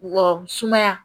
Wɔsumaya